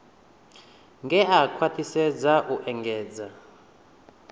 ngea khwathisedza u engedza hue